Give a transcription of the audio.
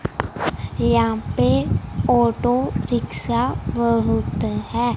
यहां पे auto rickshaw बहुत है।